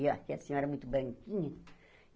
E aqui a senhora é muito branquinha.